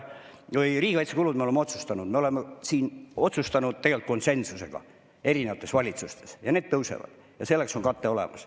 Riigikaitsekulud, nagu me oleme otsustanud tegelikult konsensusega erinevates valitsustes, tõusevad ja selleks on kate olemas.